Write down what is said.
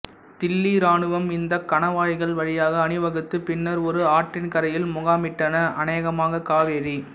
தில்லி இராணுவம் இந்த கணவாய்கள் வழியாக அணிவகுத்து பின்னர் ஒரு ஆற்றின் கரையில் முகாமிட்டன அநேகமாக காவேரி